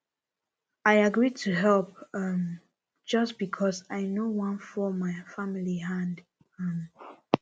i agree to help um just because i no wan fall my family hand um